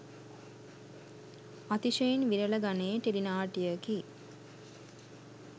අතිශයින් විරල ගණයේ ටෙලි නාට්‍යයකි